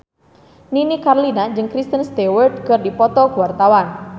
Nini Carlina jeung Kristen Stewart keur dipoto ku wartawan